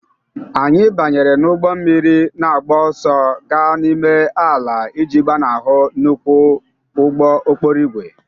Anyị banyere n'ụgbọ mmiri na-agba ọsọ gaa n'ime ala iji gbanahụ nnukwu ụgbọ okporo ígwè